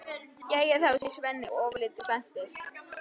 Jæja þá, segir Svenni ofurlítið spældur.